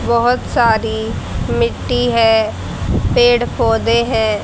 बहोत सारी मिट्टी है पेड़ पौधे है।